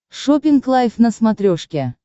шоппинг лайв на смотрешке